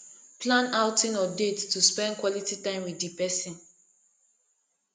plan outing or date to spend quality time with di person